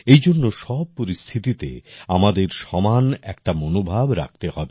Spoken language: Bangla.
এই জন্য সব পরিস্থিতিতে আমাদের সমান একটা মনোভাব রাখতে হবে